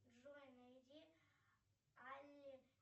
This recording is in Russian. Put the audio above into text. джой найди алле